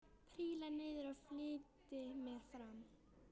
Príla niður og flýti mér fram.